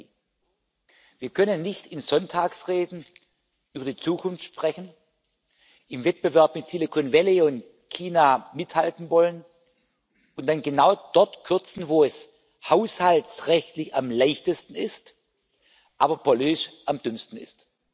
2020. Wir können nicht in Sonntagsreden über die Zukunft sprechen, im Wettbewerb mit Silicon Valley und China mithalten wollen und dann genau dort kürzen, wo es haushaltsrechtlich am leichtesten ist, aber politisch am dümmsten ist.